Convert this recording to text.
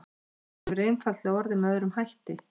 Þróunin hefur einfaldlega orðið með öðrum hætti.